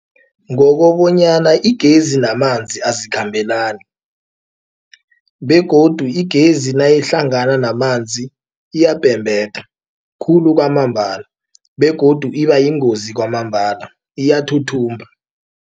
Ngokobonyana igezi namanzi azikhambelani begodu igezi nayihlangana namanzi iyabhebheda khulu kwamambala begodu ibayingozi kwamambala iyathuthumba.